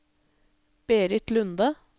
Berit Lunde